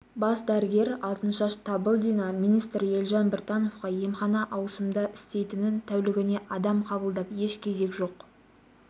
бас дәрігер алтыншаш табылдина министр елжан біртановқа емхана ауысымда істейтінін тәулігіне адам қабылдап еш кезек жоқ